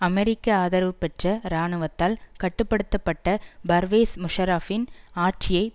அமெரிக்க ஆதரவுபெற்ற இராணுவத்தால் கட்டு படுத்த பட்ட பர்வேஸ் முஷாரஃபின் ஆட்சியை